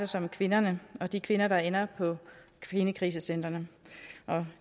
sig om kvinderne de kvinder der ender på kvindekrisecentrene og